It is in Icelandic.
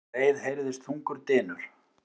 Um leið heyrðist þungur dynur.